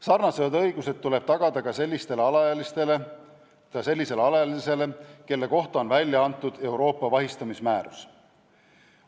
Sarnased õigused tuleb tagada ka sellisele alaealisele isikule, kelle kohta on välja antud Euroopa vahistamismäärus.